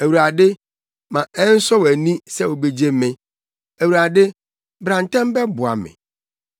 Awurade, ma ɛnsɔ wʼani sɛ wubegye me; Awurade, bra ntɛm bɛboa me.